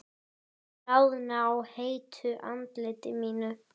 Bráðna á heitu andliti mínu.